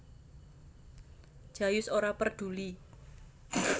Jayus ora perduli